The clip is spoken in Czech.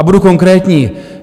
A budu konkrétní.